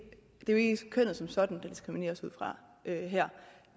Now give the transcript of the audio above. kønnet som sådan der diskrimineres ud fra her